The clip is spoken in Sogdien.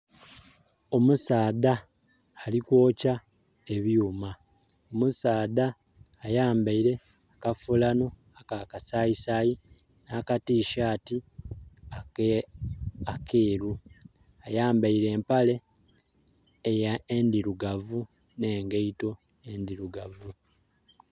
Omusaadha ali kwokya ebyuuma. Omusaadha ayambaile akafuulano aka kasayisaayisaayi nakatisati ekeeru. Ayambaile empale endirugavu nengaito endirugavu.